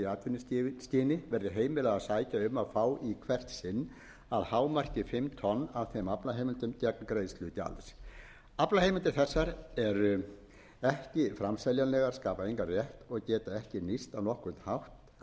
að fá í hvert sinn að hámarki fimm tonn af þeim aflaheimildum gegn greiðslu gjalds aflaheimildir þessar eru ekki framseljanlegar skapa engan rétt og geta ekki nýst á nokkurn